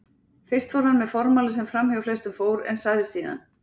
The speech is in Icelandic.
Fyrst fór hann með formála sem framhjá flestum fór, en sagði síðan